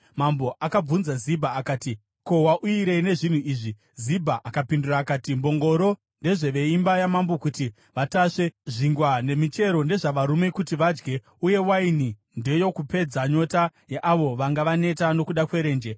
Mambo akabvunza Zibha akati, “Ko, wauyirei nezvinhu izvi?” Zibha akapindura akati, “Mbongoro ndedzeveimba yamambo kuti vatasve, zvingwa nemichero ndezvavarume kuti vadye, uye waini ndeyokupedza nyota yeavo vanga vaneta nokuda kwerenje.”